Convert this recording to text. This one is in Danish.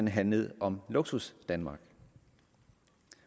handlet om luksusdanmark